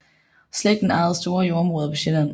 Slægten ejede store jordområder på Sjælland